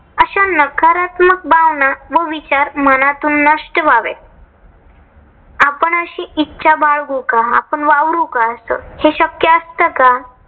अशा नकारत्मक भावना व विचार मनातून नष्ट व्हावेत. आपण अशी इच्छा बाळगू का? आपण वावरू का अस? हे शक्य असत का?